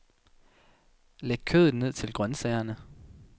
Læg kødet ned til grønsagerne.